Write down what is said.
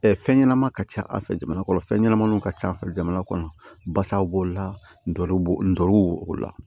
fɛn ɲɛnama ka ca a fɛ jamana kɔnɔ fɛn ɲɛnamaninw ka ca jamana kɔnɔ basaw b'o la ndorow la